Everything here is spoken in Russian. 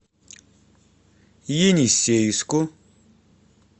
енисейску